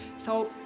þá